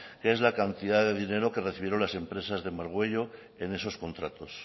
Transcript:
que es la cantidad de dinero que recibieron las empresas de margüello en esos contratos